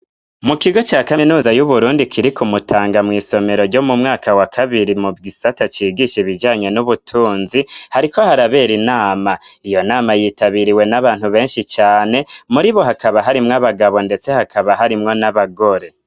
Mu kigo ca kaminuza y'Uburundi kiri ku mutanga mw'isomero ryo mu mwaka wa kabiri mu gisata cigisha ibijanye n'ubutunzi, hariko harabera inama, iyo nama yitabiriwe n'abantu benshi cane, muri bo hakaba harimwo abagabo ndetse hakaba harimwo n'abagore.